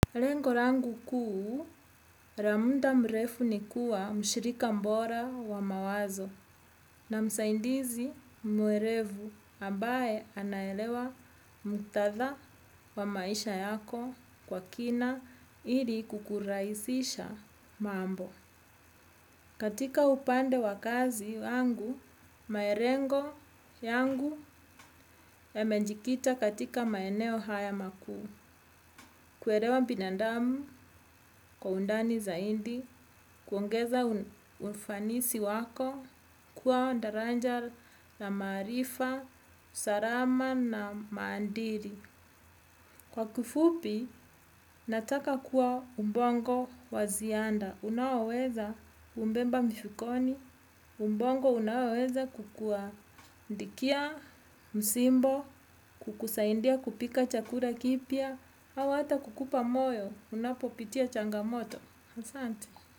Lengolangu kuu, la muda mrefu ni kuwa mshirika bora wa mawazo na msaidizi mwerevu ambae anaelewa mtaza wa maisha yako kwa kina ili kukurahisisha mambo. Katika upande wakazi yangu, malengo yangu ya mejikita katika maeneo haya makuu. Kuelewa binadamu kwa undani zaidi, kuongeza ufanisi wako, kuwa daraja na maarifa, usalama na maadili. Nataka kuwa ubongo wa ziada unaoweza kubeba mfukoni ubongo unaoweza kukuandikia, msimbo, kukusaidia kupika chakula kipya au hata kukupa moyo, unapopitia changamoto asante.